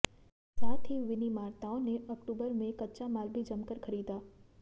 साथ ही विनिर्माताओं ने अक्टूबर में कच्चा माल भी जमकर खरीदा